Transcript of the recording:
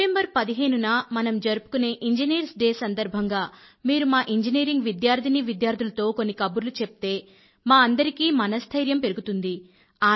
September పదిహేను న మనం జరుపుకునే ఇంజనీర్స్ డే సందర్భంగా మీరు మా ఇంజనీరింగ్ విద్యార్థినీ విద్యార్థులతో కొన్ని కబుర్లు చెప్తే మా అందరికీ మనస్థైర్యం పెరుగుతుంది